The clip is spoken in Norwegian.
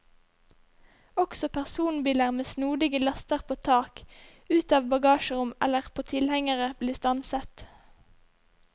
Også personbiler med snodige laster på tak, ut av bagasjerom eller på tilhengere blir stanset.